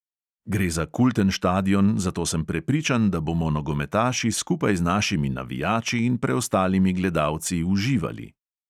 Gre za kulten štadion, zato sem prepričan, da bomo nogometaši skupaj z našimi navijači in preostalimi gledalci uživali.